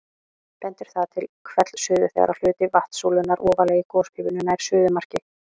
Bendir það til hvellsuðu þegar hluti vatnssúlunnar ofarlega í gospípunni nær suðumarki.